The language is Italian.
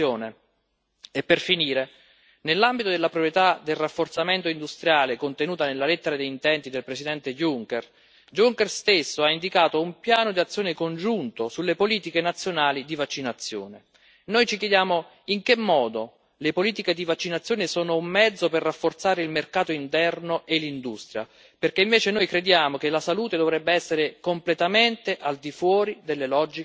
E per finire nell'ambito della priorità del rafforzamento industriale, contenuta nella lettera di intenti del Presidente Juncker, Juncker stesso ha indicato un piano d'azione congiunto sulle politiche nazionali di vaccinazione. Ci chiediamo in che modo le politiche di vaccinazione siano un mezzo per rafforzare il mercato interno e l'industria, perché invece noi crediamo che la salute dovrebbe essere completamente al di fuori delle logiche di mercato.